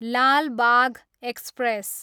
Lal Bagh express